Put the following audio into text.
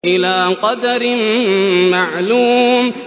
إِلَىٰ قَدَرٍ مَّعْلُومٍ